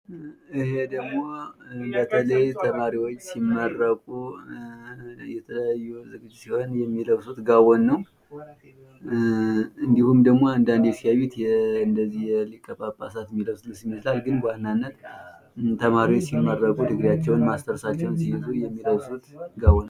ይህ ደግሞ በተለይ ተማሪዎች ሲመረቁ ማስተርሳቸውን ፣ ድግሪያቸውን ሲይዙ የሚለብሱት ጋዎን ነው። ሊቀ ጳጳሳት የሚለብሱትንም ይመስላል። ነገር ግን በዋናነት የተማሪዎች ነው።